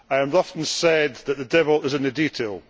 I have often said that the devil is in the detail.